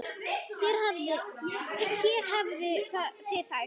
Hér hafið þið þær.